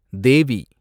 தேவி